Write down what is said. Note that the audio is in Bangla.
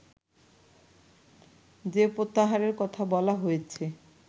যে প্রত্যাহারের কথা বলা হয়েছে